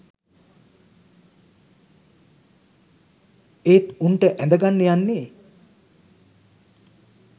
ඒත් උංට ඇඳගන්න යන්නේ